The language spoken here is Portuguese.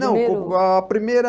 Não, co a primeira...